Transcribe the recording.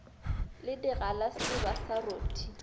le digalase ba sa rothe